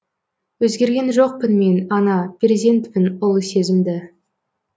өзгерген жоқпын мен ана перзентпін ұлы сезімді